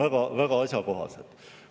Need on väga asjakohased.